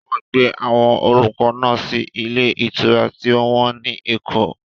Wọ́n gbé àwọn olùkọ́ náà sí ilé ìtura tí ó wọ́n ní Èkó.